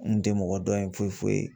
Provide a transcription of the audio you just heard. N kun tɛ mɔgɔ dɔn yen foyi foyi